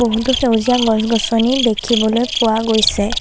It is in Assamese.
বহুতো সেউজীয়া গছ গছনি দেখিবলৈ পোৱা গৈছে।